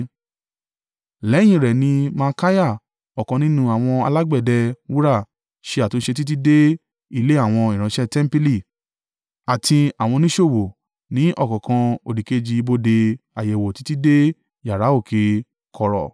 Lẹ́yìn in rẹ̀ ni Malkiah, ọ̀kan nínú àwọn alágbẹ̀dẹ wúrà ṣe àtúnṣe títí dé ilé àwọn ìránṣẹ́ tẹmpili àti àwọn oníṣòwò, ní ọ̀kánkán òdìkejì ibodè àyẹ̀wò títí dé yàrá òkè kọ̀rọ̀;